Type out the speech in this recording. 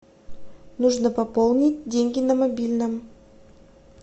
нужно пополнить деньги на мобильном